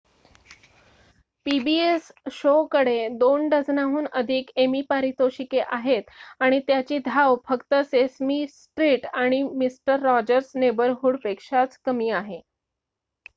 pbs show कडे 2 डझनाहून अधिक एमी पारितोषिके आहेत आणि त्याची धाव फक्त सेसमी स्ट्रीट आणि मिस्टर रॉजर्स नेबरहूड पेक्षाच कमी आहे